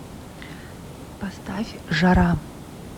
поставь жара